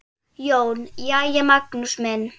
JÓN: Jæja, Magnús minn!